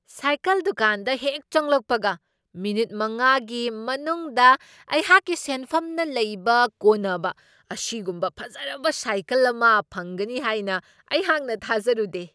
Cycle ꯗꯨꯀꯥꯟꯗ ꯍꯦꯛ ꯆꯪꯂꯛꯄꯒ ꯃꯤꯅꯤꯠ ꯃꯉꯥꯒꯤ ꯃꯅꯨꯡꯗ ꯑꯩꯍꯥꯛꯀꯤ ꯁꯦꯟꯐꯝꯅ ꯂꯩꯕ ꯀꯣꯟꯅꯕ ꯑꯁꯤꯒꯨꯝꯕ ꯐꯖꯔꯕ ꯁꯥꯏꯀꯜ ꯑꯃ ꯐꯪꯒꯅꯤ ꯍꯥꯏꯅ ꯑꯩꯍꯥꯛꯅ ꯊꯥꯖꯔꯨꯗꯦ꯫